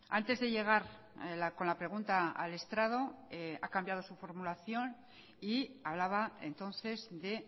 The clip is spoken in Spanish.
antes de llegar con la pregunta al estrado a cambiado su formulación y hablaba entonces de